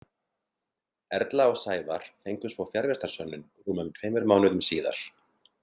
Erla og Sævar fengu svo fjarvistarsönnun rúmum tveimur mánuðum síðar.